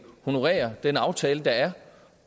honorere den aftale der er